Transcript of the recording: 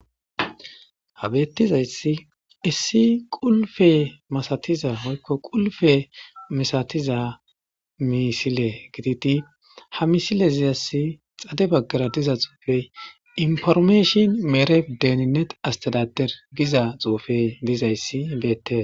Habeettizayssi issi qulfe masatiza hoykko qulfe misatiza misile gititi ha misile ziyassi xade baggara diza xuufey informeeshin meere deninet astalater giza xuufey dizayssi beette.